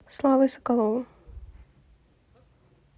славой соколовым